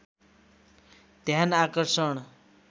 ध्यान आकर्षण